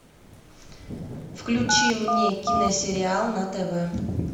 включи мне киносериал на тв